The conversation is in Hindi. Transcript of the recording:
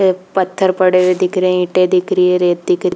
ये पत्थर पढ़े हुई दिख रहे है इटे दिख रही है रेत दिख रही--